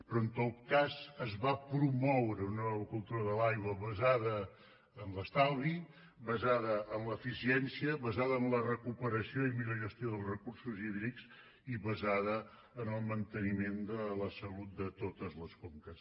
però en tot cas es va promoure una nova cultura de l’aigua basada en l’estalvi basada en l’eficiència basada en la recuperació i millor gestió dels recursos hídrics i basada en el manteniment de la salut de totes les conques